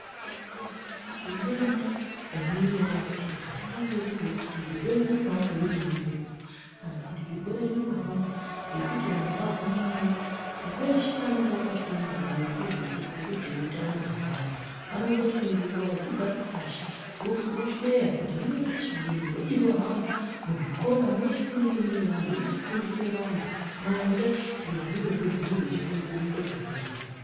Kana kukaitike denda ringange raitika ringange riri rekuti zvirwere zviri kuhambe zviri mumhepo. Kana kuti zvirwere zvirikuhamba ngekuti vantu vagwamana. Veshe vanenge vakafunda ngezvehutano hwaantu vanomboita nguva yekugara pashi vosheya kuti hino tochidini. Vochizohamba muzvikora mweshe munenge mune vantu vochifundise vantu maringe ngezvirozvo zvinenge zvichikonzerese zvirwere.